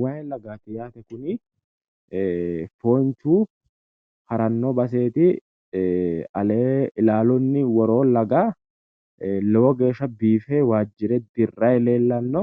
Waayi lagaati yaate kuni. foonchu haranno baseeti. alee ilaalunni woroo laga lowo geeshsha biife waajjire dirrayi leellanno.